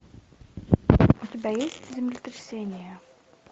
у тебя есть землетрясение